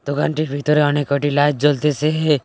দোকানটির ভিতরে অনেক কটি লাইট জ্বলতেসেএ।